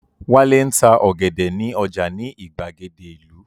Wálé ń ta ọ̀gẹ̀dẹ̀ ní ọjà ní ìgbàgede ìlú